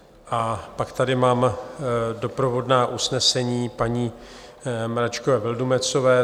A pak tady mám doprovodná usnesení paní Mračkové Vildumetzové.